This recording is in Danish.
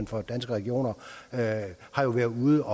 for danske regioner har været ude